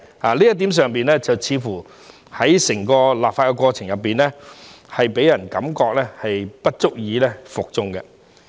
在這一點上，似乎在整個立法過程中，予人感覺不足以服眾。